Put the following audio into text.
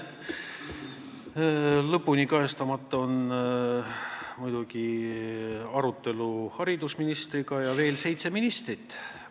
Kajastamata on arutelu haridusministriga ja veel seitsme ministriga kohtumised.